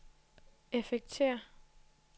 effekter